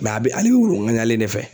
a be wulu ŋaɲalen de fɛ.